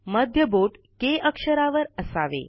मध्य बोट के अक्षरावर असावे